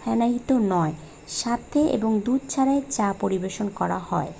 ফেনায়িত নয় সাথে এবং দুধ ছাড়াই চা পরিবেশন করা হয়।